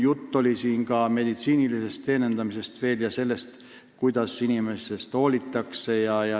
Juttu oli siin ka meditsiinilisest teenindamisest ja sellest, kuidas inimeste eest hoolitsetakse.